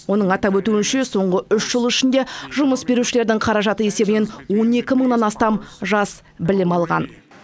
оның атап өтуінше соңғы үш жыл ішінде жұмыс берушілердің қаражаты есебінен он екі мыңнан астам жас білім алған